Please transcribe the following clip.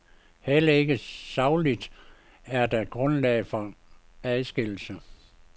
Heller ikke sagligt er der grundlag for adskillelsen.